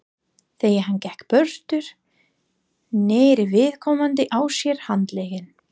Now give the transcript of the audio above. Þegar hann gekk burtu, neri viðkomandi á sér handlegginn.